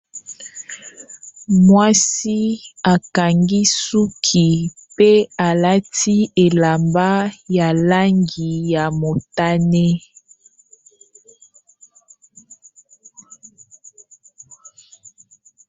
Mwasi akangi suki pe alati elamba ya langi ya motane.